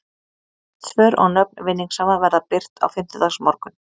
Rétt svör og nöfn vinningshafa verða birt á fimmtudagsmorgun.